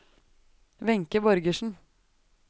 Wenche Borgersen